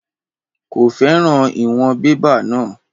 Kò fẹ́ràn ìwọ̀n bébà náà.